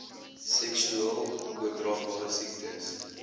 seksueel oordraagbare siektes